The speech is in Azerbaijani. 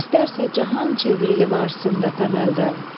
İstərsə cahan çevrili varsında təməldən.